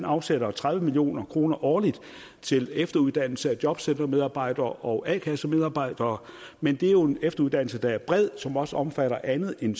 afsætter tredive million kroner årligt til efteruddannelse af jobcentermedarbejdere og a kassemedarbejdere men det er jo en efteruddannelse der er bred som også omfatter andet end